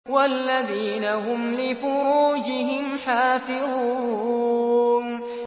وَالَّذِينَ هُمْ لِفُرُوجِهِمْ حَافِظُونَ